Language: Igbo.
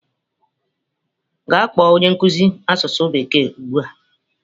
Gaa kpọọ onye nkuzi asụsụ bekee ugbu a!